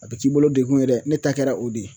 A bɛ t'i bolo degun yɛrɛ ne ta kɛra o de ye